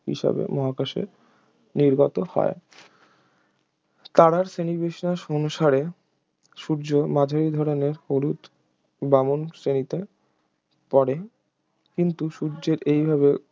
হিসেবে মহাকাশে নির্গত হয় তারার শ্রেণীবিন্যাস অনুসারে সূর্য মাঝারি ধরনের হলুদ বামন শ্রেণীতে পড়ে কিন্তু সূর্যের এইভাবে